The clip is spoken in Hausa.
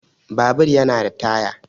Babur yana da Taya